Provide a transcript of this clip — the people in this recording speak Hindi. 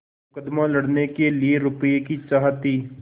मुकदमा लड़ने के लिए रुपये की चाह थी